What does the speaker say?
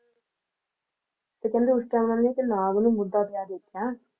ਤੇ ਕਹਿੰਦੇ ਉਸ Time ਉਹਨਾਂ ਨੇ ਇੱਕ ਨਾਗ ਨੂੰ ਮੁੱਦਾ ਪਿਆ ਦੇਖਿਆ